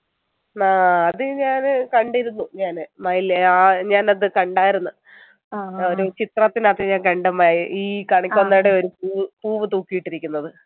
ആഹ് അത് ഞാന് കണ്ടിരുന്നു ഞാന് മയില് ആഹ് ഞാൻ അത് കണ്ടായിരുന്നു ഓരോ ചിത്രത്തിലേതു ഞാൻ കണ്ടു മയി ഈ കണിക്കൊന്നയുടെ ഒരു പൂവ് പൂവ് തൂക്കിയിട്ടിരിക്കുന്നത്